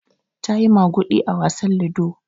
Ta yi maguɗi a wasan lido.